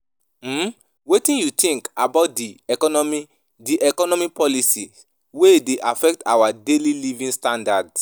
um Wetin you think about di economic di economic policies wey dey affect our daily living standards?